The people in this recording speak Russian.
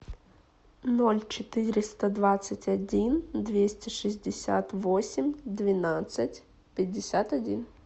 ноль четыреста двадцать один двести шестьдесят восемь двенадцать пятьдесят один